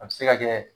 A bɛ se ka kɛ